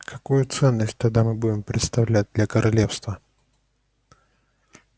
какую ценность тогда мы будем представлять для королевства